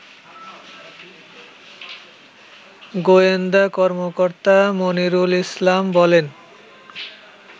গোয়েন্দা কর্মকর্তা মনিরুল ইসলাম বলেন